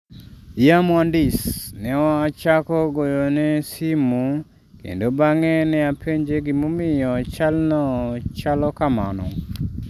"""Ya muhandis,"" Ne achako goyone simu kendo bang'e ne apenje gimomiyo chalno chalo kamano."